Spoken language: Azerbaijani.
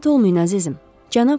Narahat olmayın, əzizim.